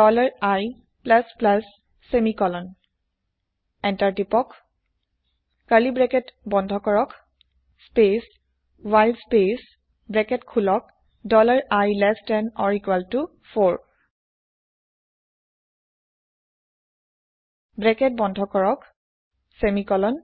dollar i plus plus semicolon enter টিপক curly bracket বন্ধ কৰক স্পেচ ৱ্হাইল স্পেচ ব্ৰেকেত খুলক dollar i less than or equal to four bracket semicolon বন্ধ কৰক